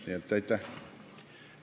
Nii et aitäh!